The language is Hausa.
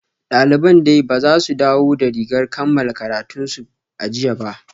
Daliban dai ba su dawo da rigar kammala karatunsu a jiya ba